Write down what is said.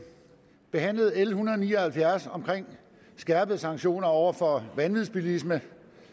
behandlede l en hundrede og ni og halvfjerds om skærpede sanktioner over for vanvidsbilister